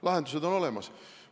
Lahendused on olemas.